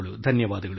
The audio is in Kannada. ಧನ್ಯವಾದಗಳು